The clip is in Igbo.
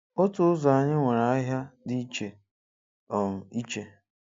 Otu ụzọ anyị nwere ahịa dị iche um iche